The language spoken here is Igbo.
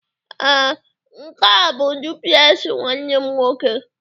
ee, nke a bụ duplex nwanne m nwoke